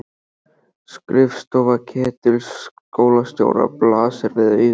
Skrifstofa Ketils skólastjóra blasir við augum.